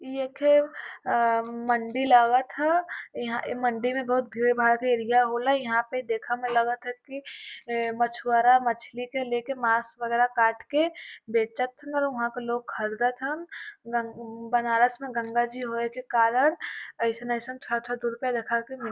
इ एक ठे अ मंडी लागत ह। ईहां ए मंडी में बहुत भीड़ भाड़ का एरिया होला। यहाँ पे देखे में लागत ह कि ए मछुवारा मछली के लेके मांस वगेरा काट के बेचत हन वहाँ के लोग खरदत हन। गं बनारस में गंगा जी होये के कारण अइसन अइसन के रूपया देखाके --